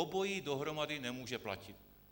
Obojí dohromady nemůže platit.